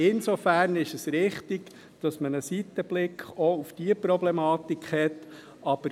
Insofern ist es richtig, dass man einen Seitenblick auch auf diese Problematik hat.